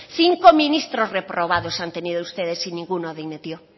cinco ministros reprobados han tenido ustedes y ninguno dimitió